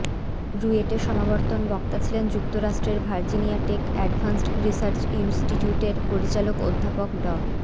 রুয়েটে সমাবর্তন বক্তা ছিলেন যুক্তরাষ্ট্রের ভার্জিনিয়াটেক অ্যাডভান্সড রিসার্চ ইন্সটিটিউটের পরিচালক অধ্যাপক ড